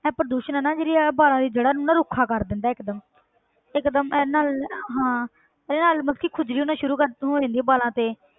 ਇਹ ਪ੍ਰਦੂਸ਼ਣ ਹੈ ਨਾ ਜਿਹੜੀ ਇਹ ਵਾਲਾਂ ਦੀ ਜੜ੍ਹਾਂ ਨੂੰ ਨਾ ਰੁੱਖਾ ਕਰ ਦਿੰਦਾ ਹੈ ਇੱਕ ਦਮ ਇੱਕ ਦਮ ਇਹਦੇ ਨਾਲ ਹਾਂ ਇਹਦੇ ਨਾਲ ਮਤਲਬ ਕਿ ਖੁਜਲੀ ਹੋਣਾ ਸ਼ੁਰੂ ਕਰ ਹੋ ਜਾਂਦੀ ਹੈ ਵਾਲਾਂ ਤੇ।